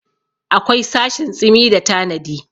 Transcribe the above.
akwai sashin tsimi da tanadi